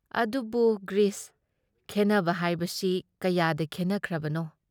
ꯑꯗꯨꯕꯨ ꯒ꯭꯭ꯔꯤꯁ, ꯈꯦꯟꯅꯕ ꯍꯥꯏꯕꯁꯤ ꯀꯌꯥꯗ ꯈꯦꯟꯅꯈ꯭ꯔꯕꯅꯣ?